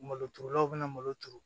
Malo turulaw bɛ na malo turu